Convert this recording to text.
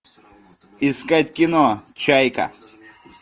искать кино чайка